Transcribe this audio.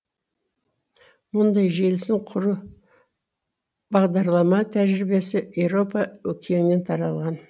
мұндай желісін құру бағдарлама тәжірибесі еуропа өкеннен таралған